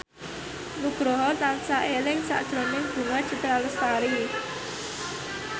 Nugroho tansah eling sakjroning Bunga Citra Lestari